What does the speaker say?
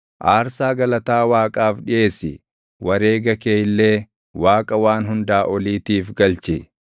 “Aarsaa galataa Waaqaaf dhiʼeessi; wareega kee illee Waaqa Waan Hundaa Oliitiif galchi;